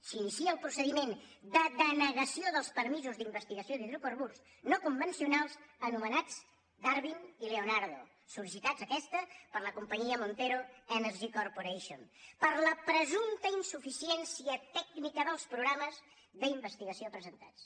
s’inicia el procediment de denegació dels permisos d’investigació d’hidrocarburs no convencionals anomenats darwin i leonardo sol·licitats aquests per la companyia montero energy corporation per la presumpta insuficiència tècnica dels programes d’investigació presentats